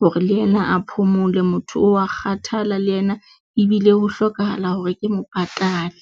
hore le yena a phomole, motho o wa kgathala le yena ebile ho hlokahala hore ke mo patale.